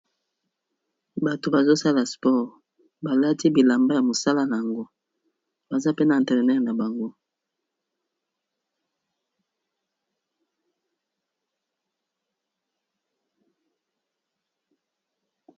Bato bazo sala sport, balati bilamba ya mosala nango baza pe na entraîneur na bango.